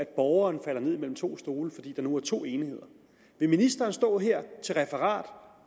borgeren falder ned mellem to stole fordi der nu er to enheder vil ministeren stå her til referat